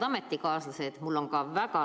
Head ametikaaslased!